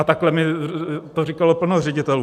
A takhle mi to říkalo plno ředitelů.